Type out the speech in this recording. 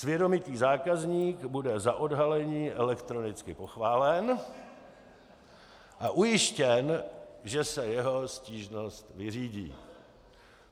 Svědomitý zákazník bude za odhalení elektronicky pochválen a ujištěn, že se jeho stížnost vyřídí.